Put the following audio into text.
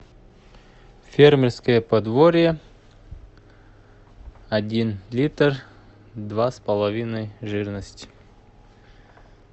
фермерское подворье один литр два с половиной жирность